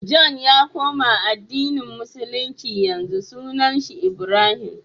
john ya koma addini musulunci yanzu sunan shi ibrahim